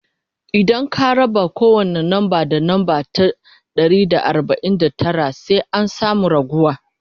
idan ka raba kowani namba da namba ta Dari da arbain da Tara sai an samu raguwa